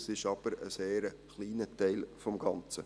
Das ist aber ein sehr kleiner Teil des Ganzen.